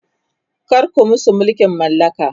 kar ku musu mulkin mallaka!